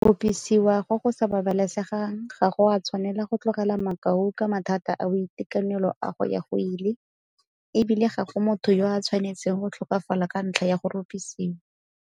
Go rupisiwa go go sa babalesegang ga go a tshwanela go tlogela makau ka mathata a boitekanelo a go ya go ile, e bile ga go motho yo a tshwanetseng go tlhokafala ka ntlha ya go rupisiwa.